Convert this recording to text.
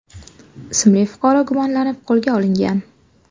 ismli fuqaro gumonlanib qo‘lga olingan.